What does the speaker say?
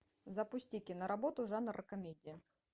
запусти киноработу жанр комедия